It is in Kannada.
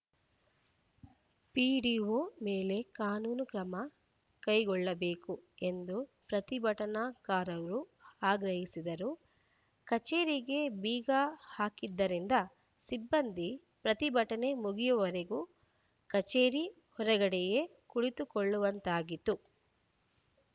ಪಿಡಿಓ ಮೇಲೆ ಕಾನೂನು ಕ್ರಮ ಕೈಗೊಳ್ಳಬೇಕು ಎಂದು ಪ್ರತಿಭಟನಾಕಾರರು ಆಗ್ರಹಿಸಿದರು ಕಚೇರಿಗೆ ಬೀಗ ಹಾಕಿದ್ದರಿಂದ ಸಿಬ್ಬಂದಿ ಪ್ರತಿಭಟನೆ ಮುಗಿಯುವವರೆಗೂ ಕಚೇರಿ ಹೊರಗಡೆಯೇ ಕುಳಿತುಕೊಳ್ಳವಂತಾಗಿತ್ತು